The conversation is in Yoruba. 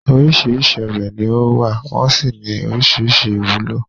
Oríṣìíríṣìí ọ̀bẹ ni ó wà, wọ́n sì ní oríṣìíríṣìí ìwúlò.